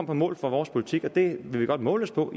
på mål for vores politik og den vil vi godt måles på